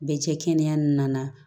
Bɛ cɛ kɛnɛya n'a